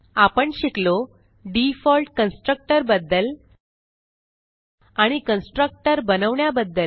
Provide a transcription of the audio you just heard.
आपण शिकलो default constructor बद्दल आणि कंट्रक्टर बनवण्याबद्दल